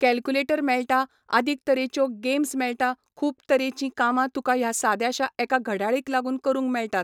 Calculator मेळटा, आदीक तरेच्यो गॅम्स मेळटा, खूब तरेचीं कामां तुका ह्या साद्याशा एका घड्याळीक लागून करूंक मेळटात.